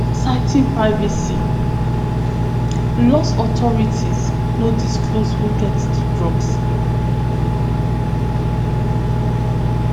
citing privacy laws authorities no disclose who get di drugs